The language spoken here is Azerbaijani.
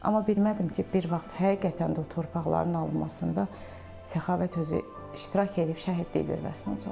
Amma bilmədim ki, bir vaxt həqiqətən də o torpaqların alınmasında Səxavət özü iştirak eləyib, şəhidlik zirvəsinə ucalacaq.